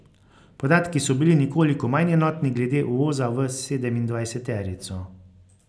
Podatki so bili nekoliko manj enotni glede uvoza v sedemindvajseterico.